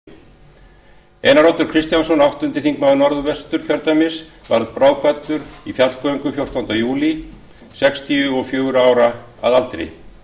við þingsetningu söknum við alþingismenn og minnumst eins úr okkar hópi einar oddur kristjánsson áttundi þingmaður norðvesturkjördæmis varð bráðkvaddur í fjallgöngu fjórtánda júlí sextíu og fjögurra ára að aldri